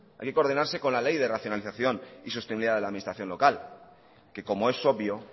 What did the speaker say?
hay que coordinarse con la ley de racionalización y sostenibilidad de la administración local que como es obvio